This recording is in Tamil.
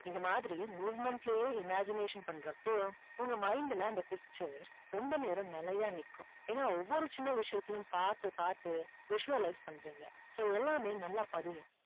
இது மாதிரி movement லயே imagination பண்றப்போ உங்க mind ல அந்த picture ரொம்ப நேரம் நிலையா நிக்கும். ஏன்னா ஒவ்வொரு சின்ன விஷயத்தையும் பார்த்து பார்த்து visualize பண்றீங்க. so எல்லாமே நல்லா பதியும்.